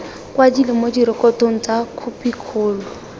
kwadilwe mo direkotong tsa khopikgolo